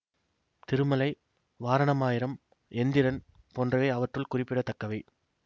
திருமலை வாரணம் ஆயிரம் எந்திரன் போன்றவை அவற்றுள் குறிப்பிட தக்கவை